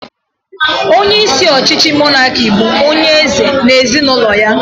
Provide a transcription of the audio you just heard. Onyeisi ọchịchị mọnaki bụ onyeeze na ezinụlọ ya